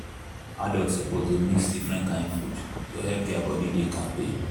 adults suppose dey mix different kain food to help their body dey kampe